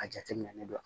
A jateminɛ ne don